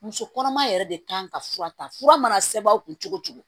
Muso kɔnɔma yɛrɛ de kan ka fura ta fura mana sɛbɛn u kun cogo cogo